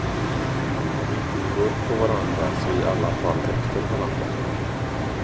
Om inte i mun på varandra, så i alla fall efter varandra.